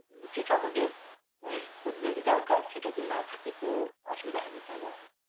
যেটা আমাদের আহ প্রতিদিন দরকার সেটা যদি না থাকে তো অসুবিধা হবে তাই নাহ?